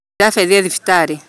Japheth e thibitarĩ